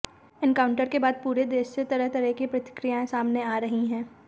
encounter के बाद पूरे देश से तरह तरह की प्रतिक्रियाएं सामने आ रही हैं